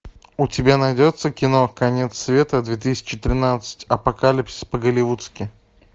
у тебя найдется кино конец света две тысячи тринадцать апокалипсис по голливудски